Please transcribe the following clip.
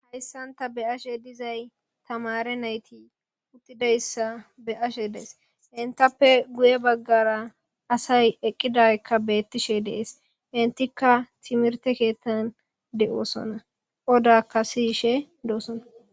Hayssanta be ashe dizay tamare nayti uttidayssa beashe dees intappe guye baggara asay eqqidaykka beettishe dees intikka timirte keettan de'oosona odakka siyishe doosona.